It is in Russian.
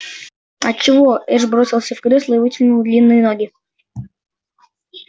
от чего эш бросился в кресло и вытянул длинные ноги